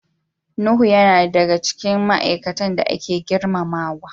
Nuhu yana daya daga cikin ma'aikatan da ake girmamawa.